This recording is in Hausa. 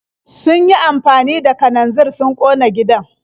Sun yi amfani da kananzir sun ƙona gidan.